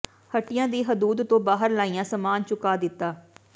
ਹੱਟੀਆਂ ਦੀ ਹਦੂਦ ਤੋਂ ਬਾਹਰ ਲਾਇਆ ਸਾਮਾਨ ਚੁਕਾ ਦਿੱਤਾ